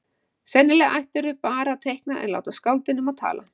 Sennilega ættirðu bara að teikna en láta skáldin um að tala.